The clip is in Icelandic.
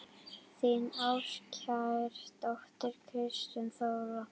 Þín ástkær dóttir, Kristín Þóra.